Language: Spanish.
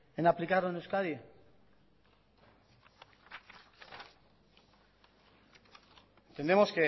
en aplicarlo en euskadi entendemos